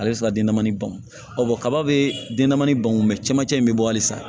Ale bɛ se ka den damani ban kaba bɛ denman ban cɛmancɛ in bɛ bɔ halisa